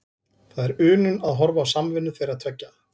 Það er unun að horfa á samvinnu þeirra tveggja.